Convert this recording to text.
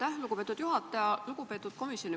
Aitäh, lugupeetud juhataja!